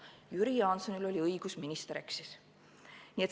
Jüri Jaansonil oli õigus, minister eksis.